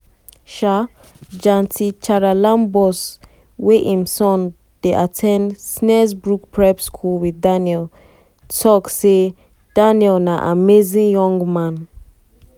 um janti um janti charalambous wey im son dey at ten d snaresbrook prep school wit daniel tok um say "daniel na amazing young man.